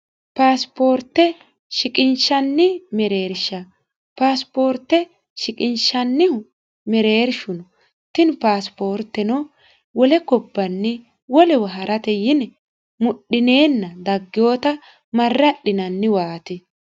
paasipoorte shiqinshanni mereersha paasipoorte shiqinshannihu mereershuno tini paasipoorteno wole kobbanni wolewa ha'rate yine mudhineenna daggoowota marra adhinanniwaati